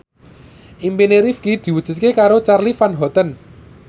impine Rifqi diwujudke karo Charly Van Houten